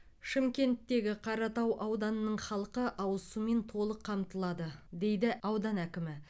шымкенттегі қаратау ауданының халқы ауыз сумен толық қамтылады дейді аудан әкімі